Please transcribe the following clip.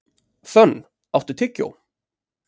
Fönn, áttu tyggjó?